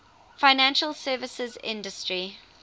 financial services industry